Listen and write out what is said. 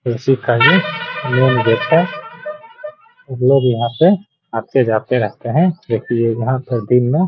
उसी का ये मेन गेट है | लोग यहाँ पे आते-जाते रहते है | यहाँ पर दिन में --